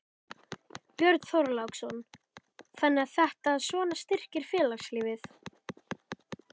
Björn Þorláksson: Þannig að þetta svona styrkir félagslífið?